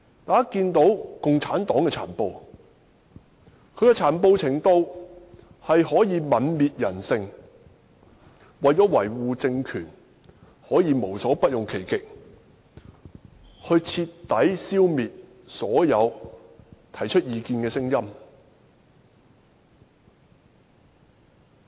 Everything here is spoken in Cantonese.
大家看到共產黨的殘暴，可以泯滅人性，為了維護政權，可以無所不用其極，徹底消滅所有提出異見的聲音。